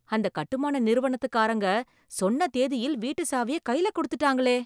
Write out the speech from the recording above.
அந்தக் கட்டுமான நிறுவனத்துக்காரங்க சொன்ன தேதியில் வீட்டு சாவியை கைல கொடுத்துட்டாங்களே